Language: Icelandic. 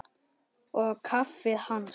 Og kaffið hans?